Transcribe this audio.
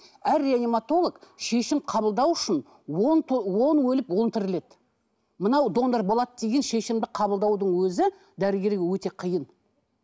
әр реаниматолог шешім қабылдау үшін то он өліп он тіріледі мынау донор болады деген шешімді қабылдаудың өзі дәрігерге өте қиын